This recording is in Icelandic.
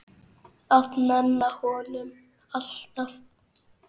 Að nenna honum, alltaf.